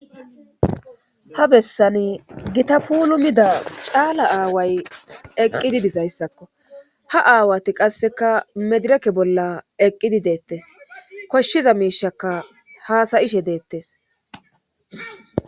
Ha bessani gita puulu mida caala aaway eqqidi dizayssakko ha aawati qasseka medireke bolla eqqidi deettes koshshiza miishaka haasayishe deettes.